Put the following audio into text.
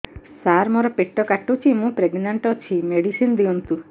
ସାର ମୋର ପେଟ କାଟୁଚି ମୁ ପ୍ରେଗନାଂଟ ଅଛି ମେଡିସିନ ଦିଅନ୍ତୁ